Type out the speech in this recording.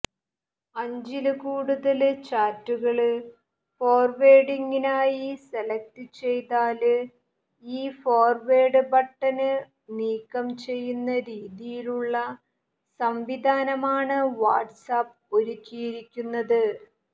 അഞ്ചില് കൂടുതല് ചാറ്റുകള് ഫോര്വേഡിങ്ങിനായി സെലക്ട് ചെയ്താല് ഈ ഫോര്വേഡ് ബട്ടണ് നീക്കം ചെയ്യുന്ന രീതിയുള്ള സംവിധാനമാണ് വാട്സ്ആപ്പ് ഒരുക്കിയിരിക്കുന്നത്